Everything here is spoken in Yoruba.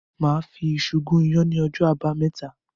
Màá fi iṣu gún iyán ní ọjọ́ Àbámẹ́ta.